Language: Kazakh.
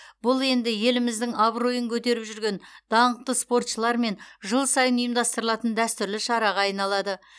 бұл енді еліміздің абыройын көтеріп жүрген даңқты спортшылармен жыл сайын ұйымдастырылатын дәстүрлі шараға айналады